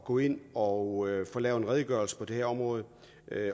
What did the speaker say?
gå ind og få lavet en redegørelse på det her område